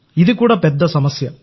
ఇది కూడా ఒక సమస్య